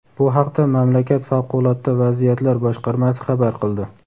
Bu haqda mamlakat favqulodda vaziyatlar boshqarmasi xabar qildi.